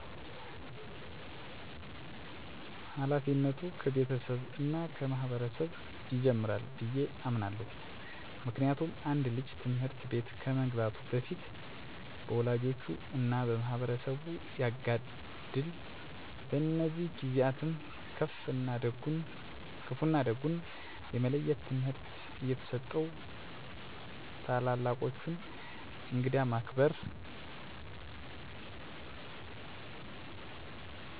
ሀላፊነቱ ከቤተሰብ እና ከማህበረሰብ ይጀምራል ብየ አምናለሁ። ምክንያቱም አንድ ልጅ ትምህርት ቤት ከመግባቱ በፊት በወላጆቹ እና በማህበረሰቡ ያጋድል። በእነዚህ ጊዜአትም ክፋ እና ደጉን የመለየት ትምህርት እየተሰጠው ታላላቆቹን፣ እንግዳን ማክበር እንዳለበት እየተማረ ያድጋል። ትምህርትቤት በሚገባባትም ሰዓት መምህራን የቀለም ትምህርትን ከመስጠት በተጨማሪ ልጆችን ስለ ማህበረሰብ ባህል እና ወግ እንዲያቁ ታሪኮችን በመናገር በማስተማር እና የልጆችን ቀልብ መግዛት በሚችሉ መዝሙር ወይም ሙዚቃዎች በመታገዝ በማስጠናት ማስተማር አለባቸው። ሁሉም ሰው ሀገር የሚቀጥለው ማህበረቡ በገነባቸው እና በኑሮ መሰረት በሆኑት ጠቃሚ ባህል እና ወጎች በመሆኑን ተረድቶ አዲስ ከሚመጣ ባህል ጋር አብሮ በማስተሳሰር እና በማስቀጠል ለቀጣይ ትውልድ ማስተላለፍ አለበት።